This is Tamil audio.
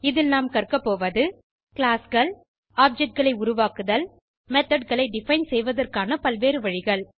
இதில் நாம் கற்கபோவது கிளாஸ் கள் ஆப்ஜெக்ட் களை உருவாக்குதல் methodகளை டிஃபைன் செய்வதற்கான பல்வேறு வழிகள்